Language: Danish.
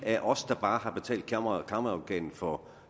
er os der bare har betalt kammeradvokaten for